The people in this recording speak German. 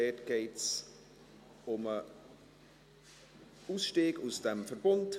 Dabei geht es um den Ausstieg aus dem Verbund.